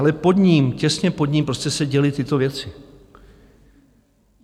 Ale pod ním, těsně pod ním prostě se děly tyto věci.